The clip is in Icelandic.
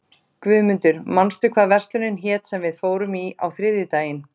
Guðmundur, manstu hvað verslunin hét sem við fórum í á þriðjudaginn?